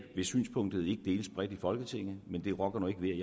hvis synspunktet ikke deles bredt i folketinget men det rokker ikke ved